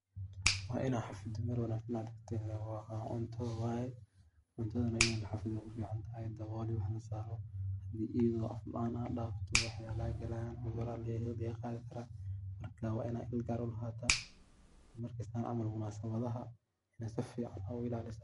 Waa inaa mir wanagsan ,oo cunta waye waa inaa dabool iyo wax lasaro. Iyadoo dabool laan hadad dafto wax yala aa galayan eroni aya geli karaan, waa inad il gaar ah u laha hataa, camal ee munasabadaha , waa ina si fican u ilalisaa .